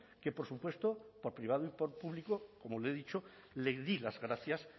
que por supuesto por privado y por público como le he dicho le di las gracias